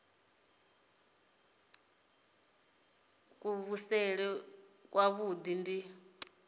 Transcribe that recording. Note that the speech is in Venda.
nila ya kuvhusele kwavhui ndi